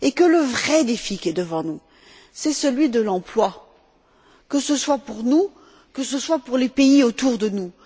Le vrai défi qui est devant nous, c'est celui de l'emploi, que ce soit pour nous, que ce soit pour les pays autour de nous.